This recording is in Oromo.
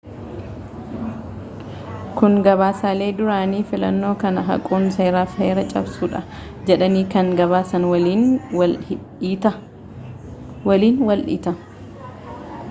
kun gabaasaalee duraanii fillannoo kana haquun seera fi heera cabsuudha jedhanii kan gabaasan waliin wal dhiita